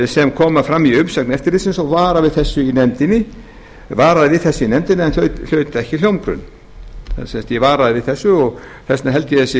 sem koma fram í umsögn eftirlitsins og varaði við þessu í nefndinni en hlaut ekki hljómgrunn ég varaði við þessu og þess vegna held ég að